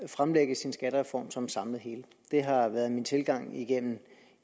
fremlægge sin skattereform som et samlet hele det har været min tilgang igennem